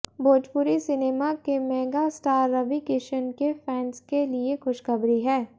Bhojpuri cinema के mega star Ravi Kishan के fans के लिए खुशखबरी है